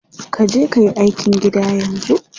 Kaje kayi aikin gida yanzu.